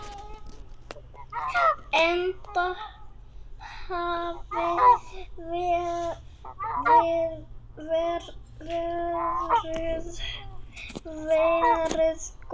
Enda hafi veðrið verið gott.